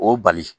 O bali